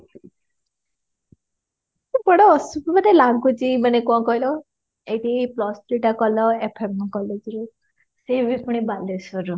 କେତେ ବଡ ଲାଗୁଛି ମାନେ କଣ କହିଲ ଏଇଠି plus three ଟା କଲ FM college ରେ ସେ ବି ପୁଣି ବାଲେଶ୍ବର ରୁ